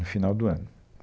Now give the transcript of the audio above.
No final do ano.